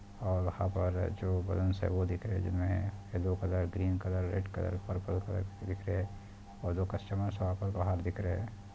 '' और वहाँ पर जो वूमेंस है वो दिख रहे हैं जिनमें yellow colour green colour red colour purple colour दिख रहे हैं और वो कस्टमर्स वहाँ पर बाहर दिख रहे हैं। ''